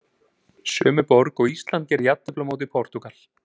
Sömu borg og Ísland gerði jafntefli á móti Portúgal.